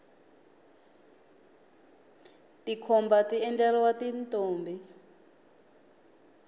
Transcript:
tikhomba ti endleriwa tintombi